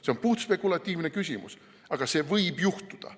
See on puhtspekulatiivne küsimus, aga see võib juhtuda.